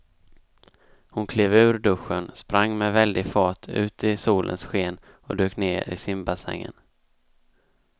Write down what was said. Hon klev ur duschen, sprang med väldig fart ut i solens sken och dök ner i simbassängen.